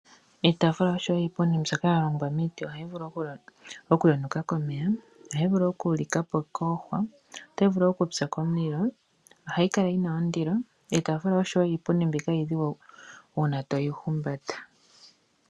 Iitaafula osho wo iipundi mbyoka ya longwa miiti ohayi vulu okuyonuka komeya, ohayi vulu okulika po koohwa, otayi vulu okupya komulilo. Ohayi kala yi na ondilo. Iitaafula osho wo iipundi mbika iidhigu uuna to yi humbata.